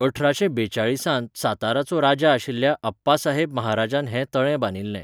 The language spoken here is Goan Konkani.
अठराशे बावेचाळीस त साताराचो राजा आशिल्ल्या अप्पासाहेब महाराजान हें तळें बांदिल्लें.